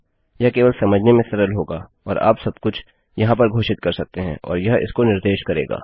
यह केवल समझने में सरल होगा और आप सबकुछ यहाँ पर घोषित कर सकते हैं और यह इसको निर्देश करेगा